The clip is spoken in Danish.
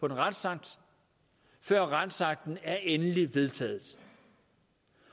en retsakt før retsakten er endelig vedtaget